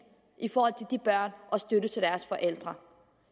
de børn og støtte til deres forældre